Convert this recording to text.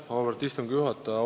Auväärt istungi juhataja!